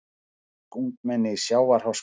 Dönsk ungmenni í sjávarháska